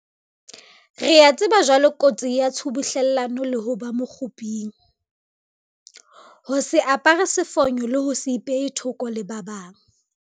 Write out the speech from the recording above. Re a tseba jwale kotsi ya tshubuhlellano le ho ba mokguping, ho se apare sefonyo le ho se ipehe thoko le ba bang.